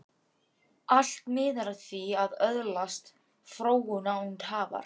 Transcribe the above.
Allt miðar að því að öðlast fróun, án tafar.